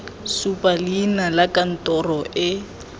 supa leina la kantoro e